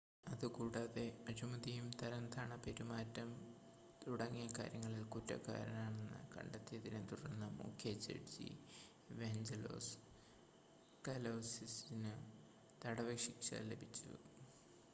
അതുകൂടാതെ അഴിമതിയും തരംതാണ പെരുമാറ്റം തുടങ്ങിയ കാര്യങ്ങളിൽ കുറ്റക്കാരനെന്ന് കണ്ടെത്തിയതിനെ തുടർന്ന് മുഖ്യ ജഡ്ജി ഇവാഞ്ചലോസ് കലൗസിസിനു തടവ് ശിക്ഷ ലഭിച്ചു